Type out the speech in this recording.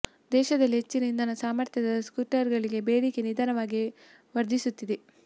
ದೇಶದಲ್ಲಿ ಹೆಚ್ಚಿನ ಇಂಧನ ಸಾಮರ್ಥ್ಯದ ಸ್ಕೂಟರ್ ಗಳಿಗೆ ಬೇಡಿಕೆ ನಿಧಾನವಾಗಿ ವರ್ಧಿಸುತ್ತಿದೆ